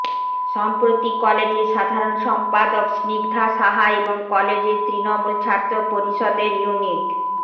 সম্প্রতি কলেজের সাধারণ সম্পাদক স্নিগ্ধা সাহা এবং কলেজের তৃণমূল ছাত্র পরিষদের ইউনিট